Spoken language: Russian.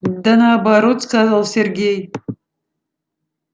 да наоборот сказал сергей